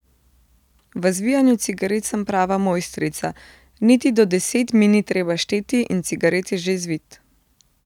V zvijanju cigaret sem prava mojstrica, niti do deset mi ni treba šteti in cigaret je že zvit.